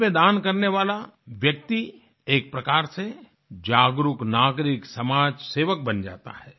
इसमें दान करने वाला व्यक्ति एक प्रकार से जागरुक नागरिक समाज सेवक बन जाता है